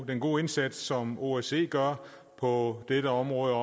den gode indsats som osce gør på dette område